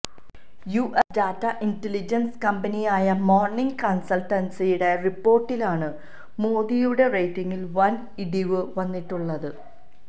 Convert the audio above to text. US data intelligence കമ്പനിയായ Morning കൺസൾട്ടിന്റെ റിപ്പോർട്ടിലാണ് മോദിയുടെ റേറ്റിംഗിൽ വൻ ഇടിവി വന്നിട്ടുള്ളത്